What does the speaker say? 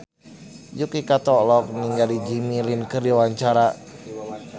Yuki Kato olohok ningali Jimmy Lin keur diwawancara